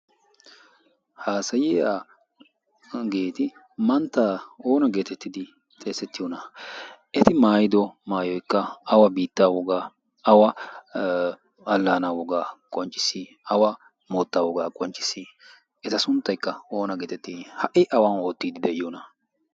haasayiyageeti manttaa oona geetettidi xeessettiyoona? eti maayido maayoikka awa biittaa wogaa awa allaana wogaa qoncciss? awa moottaa wogaa qoncciss? eta sunttaikka oona geetetti ?ha77i awan oottiiddi de7iyoona?